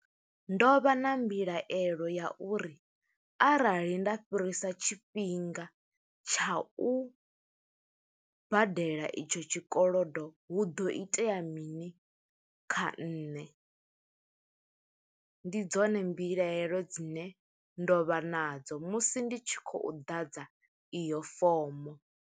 Ndo vha na mbilaelo ya uri, arali nda fhirisa tshifhinga tsha u badela i tsho tshikolodo, hu ḓo itea ya mini kha nṋe? Ndi dzone mbilaelo dzine ndo vha nadzo, musi ndi tshi khou ḓadza iyo fomo.